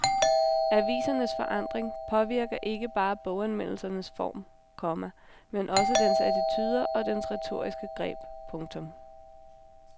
Avisernes forandring påvirker ikke bare boganmeldelsens form, komma men også dens attituder og dens retoriske greb. punktum